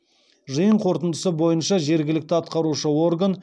жиын қорытындысы бойынша жергілікті атқарушы орган